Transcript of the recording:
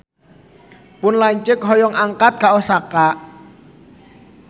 Pun lanceuk hoyong angkat ka Osaka